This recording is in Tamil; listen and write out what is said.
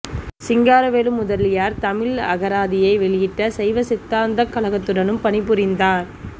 சிங்காரவேலு முதலியார் தமிழ் அகராதியை வெளியிட்ட சைவ சித்தாந்தக் கழகத்துடனும் பணிபுரிந்தார்